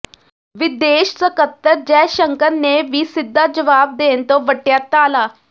ਵਿਦੇਸ਼ ਸਕੱਤਰ ਜੈਸ਼ੰਕਰ ਨੇ ਵੀ ਸਿੱਧਾ ਜਵਾਬ ਦੇਣ ਤੋਂ ਵੱਟਿਆ ਟਾਲਾ